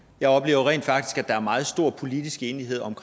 jeg oplever rent faktisk at der er meget stor politisk enighed